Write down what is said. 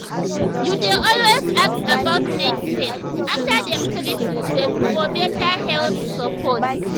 you dey always ask about next step after dem treat you for better health support.